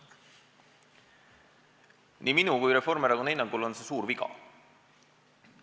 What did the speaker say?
Nii minu kui kogu Reformierakonna hinnangul on see suur viga.